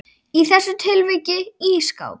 Í þessu tilviki ísskáp.